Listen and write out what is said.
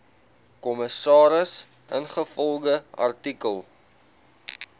kommissaris ingevolge artikel